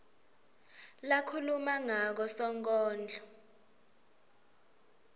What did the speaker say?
lakhuluma ngako sonkondlo